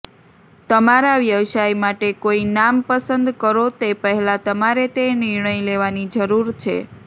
તમારા વ્યવસાય માટે કોઈ નામ પસંદ કરો તે પહેલાં તમારે તે નિર્ણય લેવાની જરૂર છે